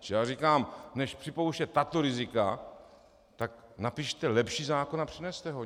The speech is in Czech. Čili já říkám, než připouštět tato rizika, tak napište lepší zákon a přineste ho.